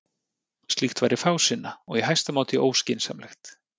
Slíkt væri fásinna og í hæsta máta óskynsamlegt.